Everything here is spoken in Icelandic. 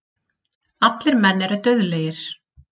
Allir menn eru dauðlegir.